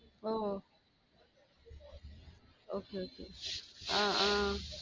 ஒ okay okay ஆஹ் ஆஹ்